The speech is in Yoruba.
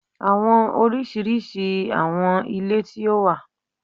Awọn oriṣiriṣi awọn ile ti o wa